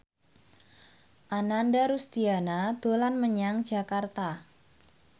Ananda Rusdiana dolan menyang Jakarta